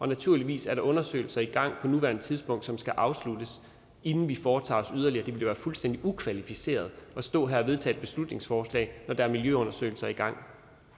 naturligvis er der undersøgelser i gang på nuværende tidspunkt som skal afsluttes inden vi foretager os yderligere det være fuldstændig ukvalificeret at stå her og vedtage et beslutningsforslag når der er miljøundersøgelser i gang